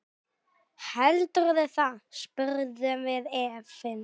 Heldurðu það, spurðum við efins.